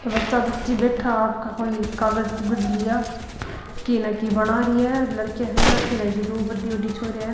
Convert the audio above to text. बच्चा बच्ची बैठा आपका कोई कागज कुगज लिया की न की बना रही है लड़किया है अठीन दो बड़ी बड़ी छोरिया है।